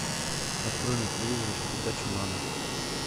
открой на телевизоре передачу нано